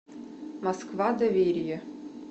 москва доверие